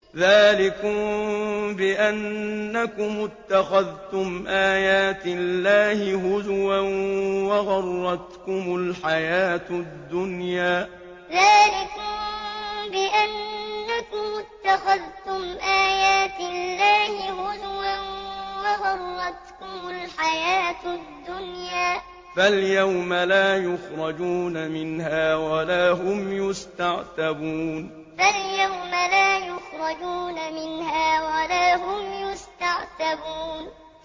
ذَٰلِكُم بِأَنَّكُمُ اتَّخَذْتُمْ آيَاتِ اللَّهِ هُزُوًا وَغَرَّتْكُمُ الْحَيَاةُ الدُّنْيَا ۚ فَالْيَوْمَ لَا يُخْرَجُونَ مِنْهَا وَلَا هُمْ يُسْتَعْتَبُونَ ذَٰلِكُم بِأَنَّكُمُ اتَّخَذْتُمْ آيَاتِ اللَّهِ هُزُوًا وَغَرَّتْكُمُ الْحَيَاةُ الدُّنْيَا ۚ فَالْيَوْمَ لَا يُخْرَجُونَ مِنْهَا وَلَا هُمْ يُسْتَعْتَبُونَ